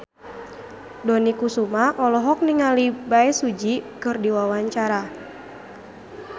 Dony Kesuma olohok ningali Bae Su Ji keur diwawancara